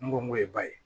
N go n k'o ye ba ye